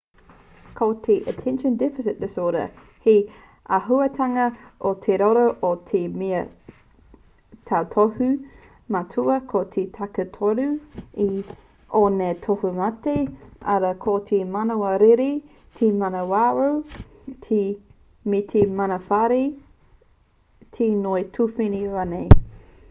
ko te attention deficit disorder he āhuatanga o te roro ko te mea tautohu matua ko te takitoru o ngā tohumate arā ko te manawa rere te manawarau me te manawarahi te ngoi tuwhene rānei